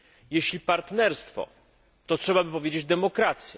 Jeśli partnerstwo, to trzeba by powiedzieć demokracja.